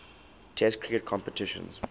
test cricket competitions